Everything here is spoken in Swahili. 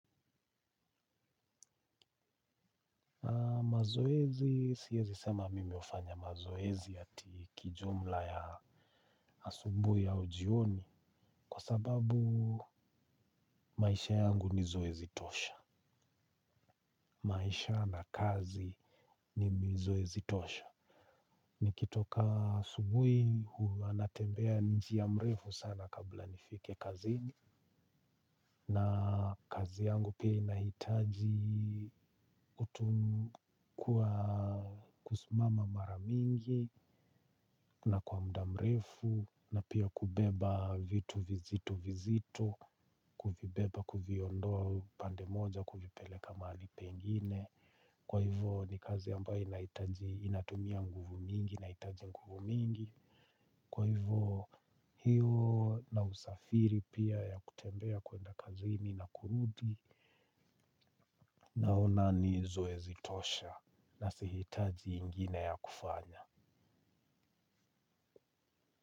Mazoezi siezi sema mimi hufanya mazoezi ati kijumla ya asubuhi au jioni kwa sababu maisha yangu ni zoezi tosha. Maisha na kazi ni zoezi tosha. Nikitoka asubuhi, huwa natembea njia mrefu sana kabla nifike kazini. Na kazi yangu pia inahitaji kuwa kusimama mara mingi na kwa mda mrefu na pia kubeba vitu vizito vizito kuvibeba kuviondoa upande moja kuvipeleka upande nyingine kwaivo ni kazi ambayo inahitaji inatumia nguvu mingi inahitaji nguvu mingi kwaivo hiyo na usafiri pia ya kutembea kuenda kazini na kurudi naona ni zoezi tosha na sihitaji ingine ya kufanya.